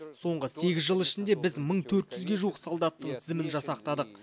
соңғы сегіз жыл ішінде біз мың төрт жүзге жуық солдаттың тізімін жасақтадық